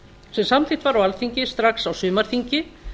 sem samþykkt var á alþingi strax á sumarþingi